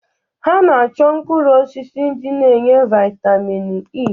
Ha na-achọ mkpụrụ osisi ndi na-enye vaịtamin E.